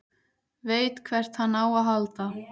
Veit hvert hann á að halda.